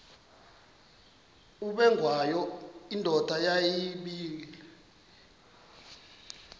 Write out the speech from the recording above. ubengwayo indoda yayibile